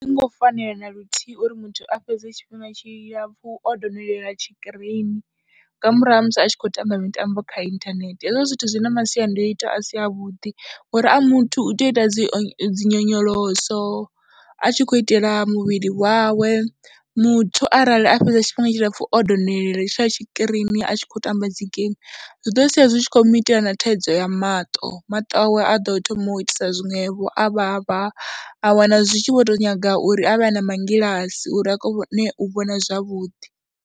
A zwi ngo fanela na luthihi uri muthu a fhedze tshifhinga tshilapfhu o donolela tshikirini nga murahu ha musi a tshi khou tamba mitambo kha inthanethe, hezwo zwithu zwi na masiandoitwa a si avhuḓi ngori a muthu u tea u ita dzi nyonyoloso, a tshi khou itela muvhili wawe, muthu arali a fhedza tshifhinga tshilapfhu o donolela tsha tshikirini a tshi khou tamba dzi geimi zwi ḓo sia zwi tshi khou mu itela na thaidzo ya maṱo, maṱo awe a ḓo thoma u itisa zwiṅwevho a vhavha, a wana zwi tshi vho tou nyaga uri a vhe a na mangilasi uri a kone u vhona zwavhuḓi.